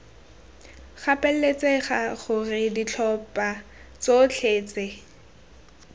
gapeletsega gore ditlhopha tsotlhe tse